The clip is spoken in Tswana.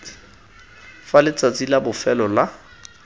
fa letsatsi la bofelo la